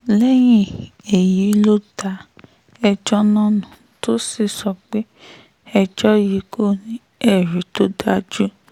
lẹ́yìn èyí ló da ẹjọ́ náà nù tó sì sọ pé ẹjọ́ yìí kò ní ẹ̀rí tó dájú